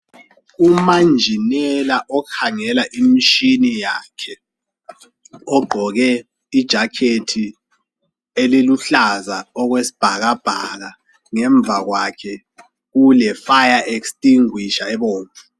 Umanjinela okhangela imishini yakhe ogqoke ijakhethi eliluhlaza okwesibhakabhaka ngemva kwakhe kule fire extinguisher ebomvu.